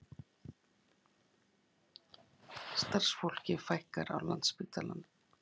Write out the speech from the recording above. Starfsfólki fækkar á Landspítalanum